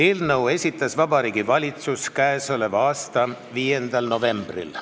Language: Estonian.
Eelnõu esitas Vabariigi Valitsus k.a 5. novembril.